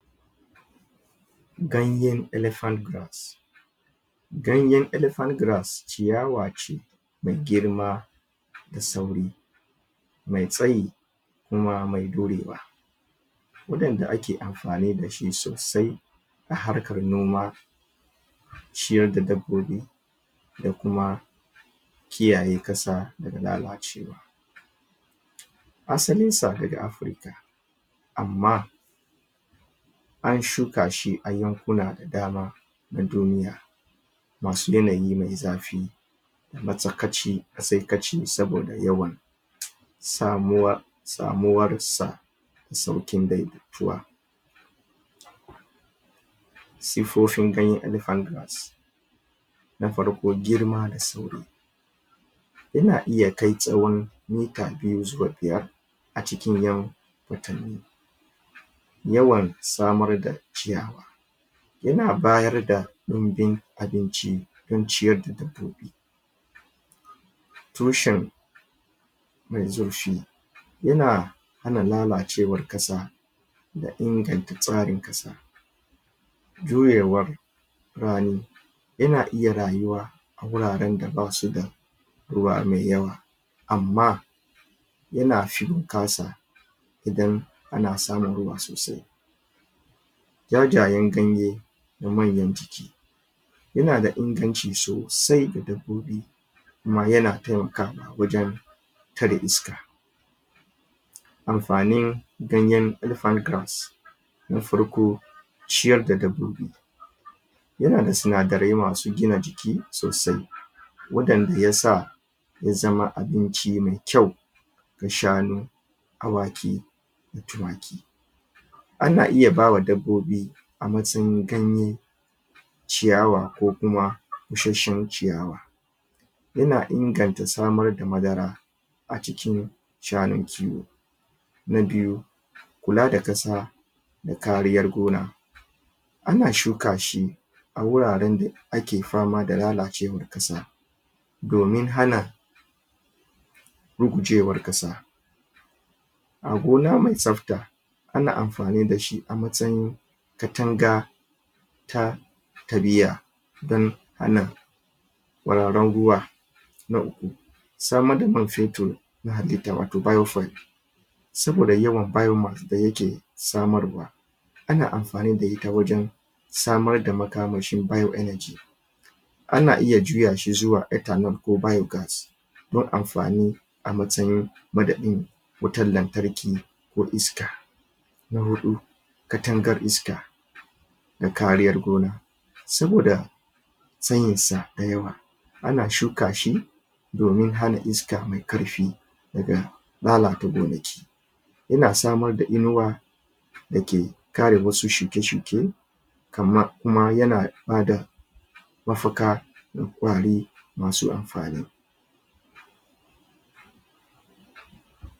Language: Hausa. Ganyen elephant grass. Ganyen elephant grass ciyawa ce mai girma da sauri mai tsayi kuma mai jurewa wanda ake amfani da shi sosai a harkar noma ciyar da dabbobi da kuma kiyaye ƙasa daga lalacewa Asalin sa daga Afurka amma an shuka shi a yankuna da dama na duniya masu yanayi mai zafi matsakaici saboda yawan? samuwar sa da sauƙin daidaituwa. Siffofin ganyen elephant grass Na farko, girma da sauri yana iya kai tsaron mita biyu zuwa biyar a cikin ƴan watanni. Yawan samar da ciyawa Yana bayar da ɗunbin abinci don ciyar da dabbobi tushe mai zurfi yana Yana hana lalacewar ƙasa da inganta tsarin ƙasa. Jurewar rani Yana iya rayuwa a wuraren da basu da ruwa mai yawa amma yana fin bunƙasa. idan ana samun ruwa sosai jajayen ganye da manyan jiki yana da inganci sosai ga dabbobi kuma yana taimakawa wajen tare iska Amfanin ganyen elephant grass Na farko, ciyar da dabbobi yana da sinadarai masu gina jiki sosai waɗanda yasa ya zama abinci mai kyau ga shanu awaki da tumaki Ana iya ba wa dabbobi a matsayin ganye ciyawa ko kuma bushashen ciyawa Yna inganta samar da madara a cikin shanun kiwo Na biyu kula da ƙasa da kariyar gona Ana shuka shi a wuraren da ake fama da lalacewar ƙasa domin hana rugujewar ƙasa aa gona ma tsafta ana amfani da shi a matsayin katanga ta? don hana? nNa uku samar da man fetur Na halitta watau "biofuel" saboda yawan? da yake samarwa Ana amfani da ita wajen samar da makamashin "bioenergy" ana iya juya shi zuwa ethanol ko biogas don amfani a matsayin madadin wutan lantarki ko iska Na hudu, katangar iska da kariyar gona saboda tsayin sa dayawa ana shuka shi domin hana iska mai ƙarfi daga lalata gonaki yana samar da inuwa dake kare musu shuke shuke kama kuma yana bada mafaka ga ƙwari masu amfani.